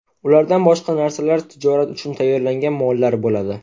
Ulardan boshqa narsalar tijorat uchun tayyorlangan mollar bo‘ladi.